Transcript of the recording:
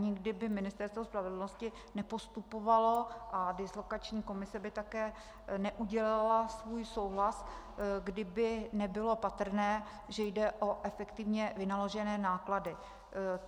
Nikdy by Ministerstvo spravedlnosti nepostupovalo a dislokační komise by také neudělila svůj souhlas, kdyby nebylo patrné, že jde o efektivně vynaložené náklady.